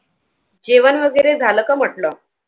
जेवण वगैरे झालं का म्हंटल?